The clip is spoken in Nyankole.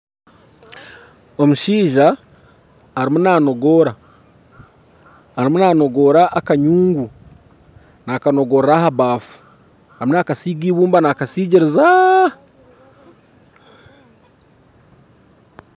Omushaija ariyo nanogoora ariyo nanogoora akanyungu, nakanogoorera omu baafu. Ariyo nakasiga eibumba nakasigiriza.